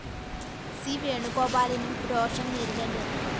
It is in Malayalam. സി വേണുഗോപാലിനും രോഷം നേരിടേണ്ടിവന്നു